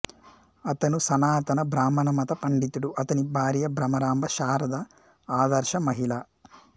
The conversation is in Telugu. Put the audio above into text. అతను సనాతన బ్రాహ్మణ మత పండితుడు అతని భార్య బ్రహ్మరాంబ శారద ఆదర్శ మహిళ